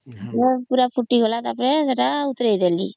ପୁରା ଫୁଟିଗଲା ତା ପରେ ସେତ ଓଲେହିଦେଲି